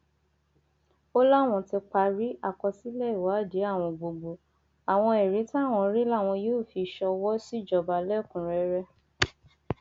ó láwọn ti parí àkọsílẹ ìwádìí àwọn gbogbo àwọn ẹrí táwọn rí làwọn yóò fi ṣọwọ síjọba lẹkùnúnrẹrẹ